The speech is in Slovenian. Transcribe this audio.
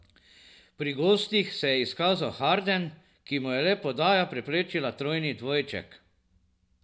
Pri gostih se je izkazal Harden, ki mu je le podaja preprečila trojni dvojček.